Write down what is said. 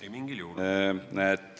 Ei mingil juhul!